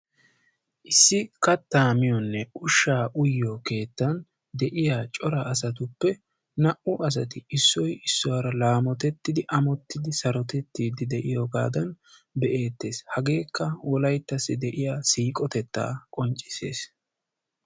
Issi katta miyonne ushsha uyyiyo cora asatuppe naa''u asati issoy issuwara laamottidi sarottidi de'iyooga be'ettees. hagekka wolayttassi de'iyaa siiqotetta qonccissees.